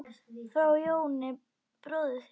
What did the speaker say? Frá Jóni bróður þínum.